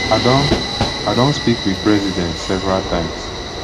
i don i don speak wit president several times